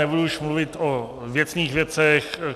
Nebudu už mluvit o věcných věcech.